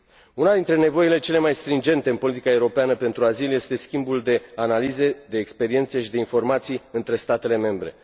Una dintre nevoile cele mai stringente în politica europeană pentru azil este schimbul de analize, de experiențe și de informații între statele membre.